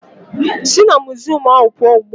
Si na muziọm ahụ pụọ ugbu a!